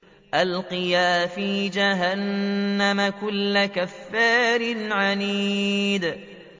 أَلْقِيَا فِي جَهَنَّمَ كُلَّ كَفَّارٍ عَنِيدٍ